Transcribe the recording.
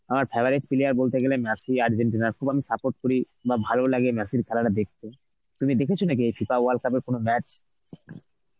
আমার খেলা দেখতে গিয়ে বলতে গেলে মেসি আর্জেন্টিনার খুব আমি support করি বাহ ভালো লাগে মেসির খেলাটা দেখতে. তুমি দেখেছো নাকি এই FIFA world cup এর কোন match?